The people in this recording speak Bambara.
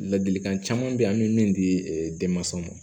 Ladilikan caman beyi an bɛ min di denmansaw ma